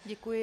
Děkuji.